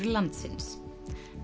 landsins